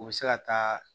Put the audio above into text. U bɛ se ka taa